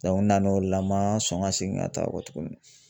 n nan' o la n ma sɔn ka seegin ka taa o kɔ tugunni.